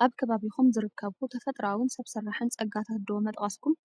ካብ ከባቢኹም ዝርከቡ ተፈጥሮኣዊን ሰብ ስራሕን ፀጋታት ዶ ምጠቐስኩም?